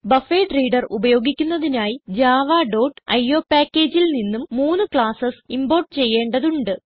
buffered reader ഉപയോഗിക്കുന്നതിനായി Java dot io packageൽ നിന്നും മൂന്ന് ക്ലാസ്സ് ഇംപോർട്ട് ചെയ്യേണ്ടതുണ്ട്